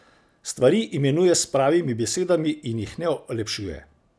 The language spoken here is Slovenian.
Stvari imenuje s pravimi besedami in jih ne olepšuje.